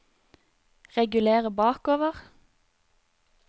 reguler bakover